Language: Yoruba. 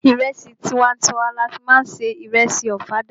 Ìrẹsì tiwa n tiwa ni a fí má ń se ìrẹsì ọ̀fadà.